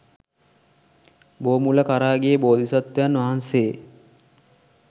බෝමුල කරා ගිය බෝධිසත්වයන් වහන්සේ